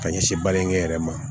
Ka ɲɛsin balimakɛ yɛrɛ ma